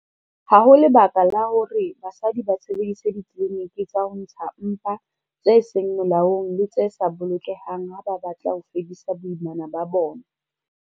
Ha ho lebaka la hore basadi ba sebedise ditliliniki tsa ho ntsha mpa tse seng molaong le tse sa bolokehang ha ba batla ho fedisa boimana ba bona.